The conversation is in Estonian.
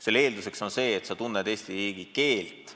Selle eelduseks on see, et sa oskad Eesti riigi keelt.